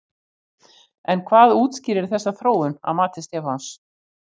En hvað útskýrir þessa þróun að mati Stefáns?